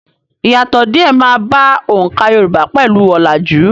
Ìyàtọ̀ díè máa bá oǹkà Yorùbá pẹ̀lú ọ̀làjú.